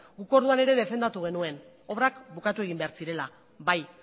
guk orduan ere defendatu genuen obrak bukatu egin behar zirela bai